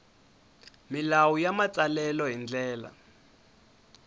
milawu ya matsalelo hi ndlela